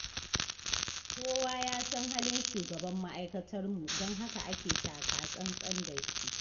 Kowa ya san halin shugaban ma'aikatarmu, don haka ake taka-tsan-tsan da shi.